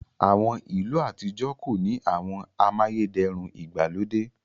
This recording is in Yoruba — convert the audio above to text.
àwọn ilu atijọ ko ni àwọn amayederun igbalode..